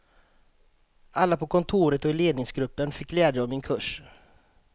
Alla på kontoret och i ledningsgruppen fick glädje av min kurs.